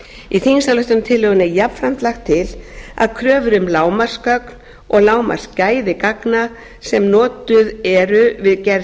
í þingsályktunartillögunni er jafnframt lagt til að kröfur um lágmarksgögn og lágmarksgæði gagna sem notuð eru við gerð